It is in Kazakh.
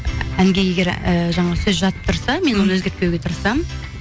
әнге егер ііі жаңағы сөз жатып тұрса мен оны өзгертпеуге тырысамын